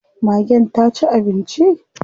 Magen ta ci abinci?